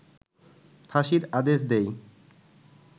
ফাঁসির আদেশ দেয়